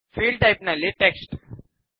field type ನಲ್ಲಿ text